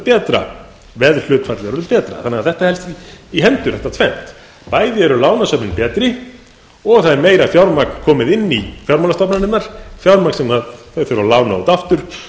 betra veðhlutfallið orðið betra þetta helst í hendur þetta tvennt bæði eru lánasöfnin betri og það er meira fjármagn komið inn í fjármálastofnanirnar fjármagn sem þær þurfa að lána út aftur